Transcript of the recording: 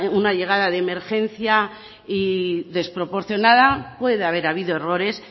una llegada de emergencia y desproporcionada puede haber habido errores